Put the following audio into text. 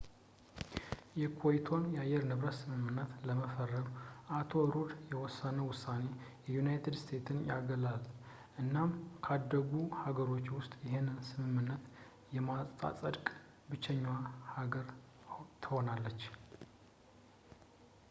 የኮይቶን አየር ንብረት ስምምነት ለመፈረም የአቶ ሩድ የወሰነው ውሳኔ ዩናይትድ ስቴትስን ያገላል እናም ካደጉ ሀገራት ውስጥ ይሄንን ስምምነት የማታጸድቅ ብቸኛ ሀገር ትሆናለች